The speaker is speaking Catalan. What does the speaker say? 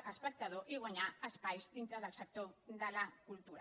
l’espectador i guanyar espais dintre del sector de la cultura